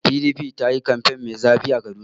PDP ta yi kamfen mai zafi a Kaduna.